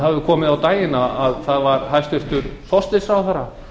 það hefur komið á daginn að það var hæstvirtur forsætisráðherra